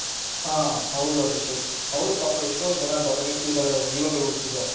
ಹ ಹೌದು ಅಭಿಷೇಕ್ ಅವರು ಪಾಪ ಎಷ್ಟೋ ಜನ ಬಡ ವ್ಯಕ್ತಿಗಳು ಜೀವಗಳು ಉಳಿಸಿದ್ದಾರೆ,